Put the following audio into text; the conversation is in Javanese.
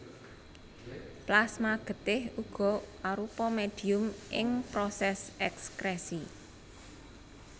Plasma getih uga arupa médhium ing prosès èkskrèsi